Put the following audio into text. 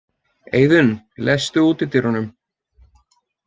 Eiðunn, læstu útidyrunum.